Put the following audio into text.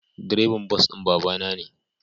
Direban bas din babana ne.